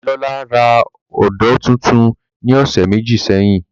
Damilola ra ódó tuntun ni ọsẹ meji sẹhin.